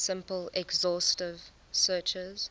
simple exhaustive searches